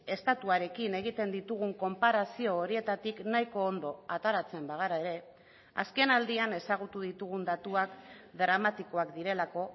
estatuarekin egiten ditugun konparazio horietatik nahiko ondo ateratzen bagara ere azken aldian ezagutu ditugun datuak dramatikoak direlako